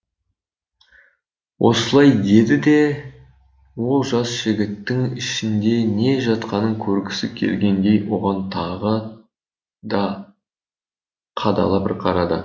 осылай деді де ол жас жігіттің ішінде не жатқанын көргісі келгендей оған тағы да қадала бір қарады